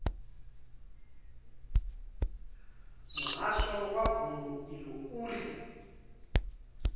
muhasho wa vundu iḽo uri